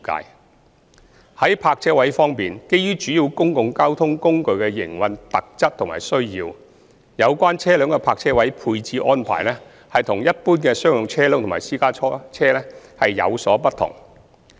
三在泊車位方面，基於主要公共交通工具的營運特質和需要，有關車輛的泊車位配置安排與一般商用車輛及私家車有所不同。